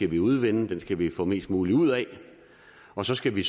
vi udvinde den skal vi få mest muligt ud af og så skal vi